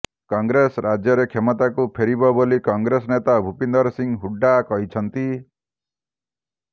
କଂଗ୍ରେସ ରାଜ୍ୟରେ କ୍ଷମତାକୁ ଫେରିବ ବୋଲି କଂଗ୍ରେସ ନେତା ଭୁପିନ୍ଦର ସିଂ ହୁଡ୍ଡା କହିଛନ୍ତି